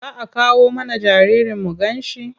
Za a kawo mana jaririn mu ganshi?